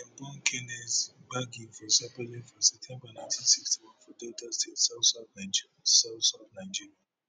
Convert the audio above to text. dem born kenneth gbagi for sapele for september nineteen sixty one for delta state southsouth nigeria southsouth nigeria